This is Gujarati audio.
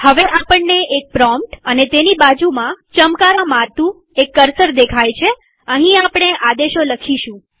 હવે આપણને એક પ્રોમ્પ્ટ અને તેની બાજુમાં ચમકારા મારતું કર્સર દેખાય છેઅહીં આપણે આદેશો લખીશું